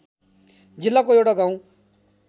जिल्लाको एउटा गाउँ